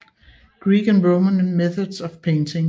Greek and Roman Methods of Painting